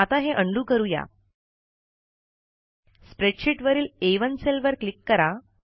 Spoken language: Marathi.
आता हे उंडो करू या स्प्रेडशीट वरील A1सेल वर क्लिक करा